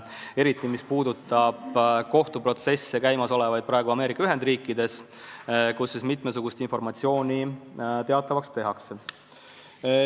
Eriti puudutab see praegu käimasolevaid kohtuprotsesse Ameerika Ühendriikides, kus mitmesugust informatsiooni teatavaks tehakse.